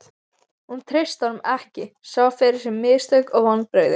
Hún treysti honum ekki, sá fyrir sér mistök og vonbrigði.